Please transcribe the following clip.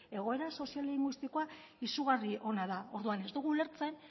egoera soziolinguistikoa izugarri ona da orduan ez dugu ulertzen